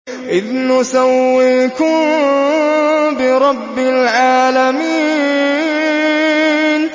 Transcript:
إِذْ نُسَوِّيكُم بِرَبِّ الْعَالَمِينَ